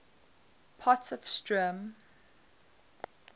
potchefstroom